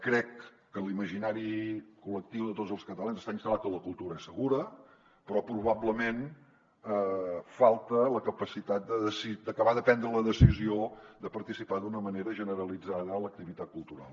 crec que en l’imaginari col·lectiu de tots els catalans està instal·lat que la cultura és segura però probablement falta la capacitat d’acabar de prendre la decisió de participar d’una manera generalitzada a l’activitat cultural